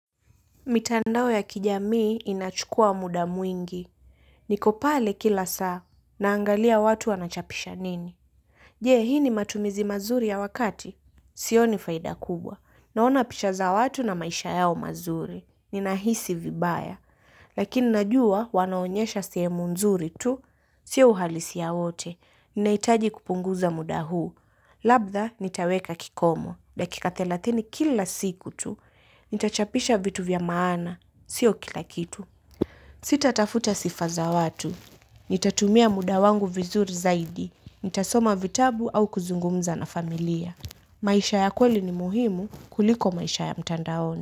Mitandao ya kijamii inachukua muda mwingi. Niko pale kila saa. Naangalia watu wanachapisha nini. Je, hii ni matumizi mazuri ya wakati. Sioni faida kubwa. Naona picha za watu na maisha yao mazuri. Ninahisi vibaya. Lakini najua wanaonyesha sehemu nzuri tu. Sio uhalisia wote. Ninahitaji kupunguza muda huu. Labda nitaweka kikomo. Dakika thelathini kila siku tu. Nitachapisha vitu vya maana, siyo kila kitu. Sitatafuta sifa za watu. Nitatumia muda wangu vizuri zaidi. Nitasoma vitabu au kuzungumza na familia. Maisha ya kweli ni muhimu kuliko maisha ya mtandaoni.